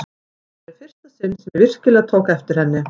Þetta var í fyrsta sinn sem ég virkilega tók eftir henni.